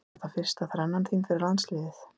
Er þetta fyrsta þrennan þín fyrir landsliðið?